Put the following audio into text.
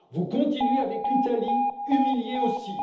Vous continuez avec l'Italie, humiliée aussi.